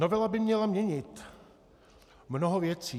Novela by měla měnit mnoho věcí.